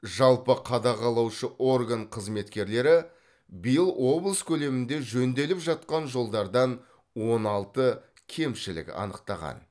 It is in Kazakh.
жалпы қадағалаушы орган қызметкерлері биыл облыс көлемінде жөнделіп жатқан жолдардан он алты кемшілік анықтаған